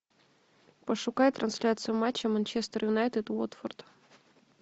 пошукай трансляцию матча манчестер юнайтед уотфорд